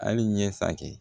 Hali ɲɛ sa kɛ